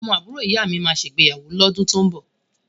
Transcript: Ọmọ àbúrò ìyámi máa ṣègbéyàwó lọ́dún tó ń bọ̀.